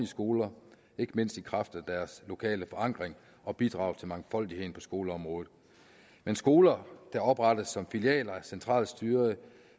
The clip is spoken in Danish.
skoler ikke mindst i kraft af deres lokale forankring og bidrag til mangfoldigheden på skoleområdet men skoler der oprettes som filialer af centralstyrede